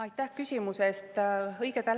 Aitäh küsimuse eest!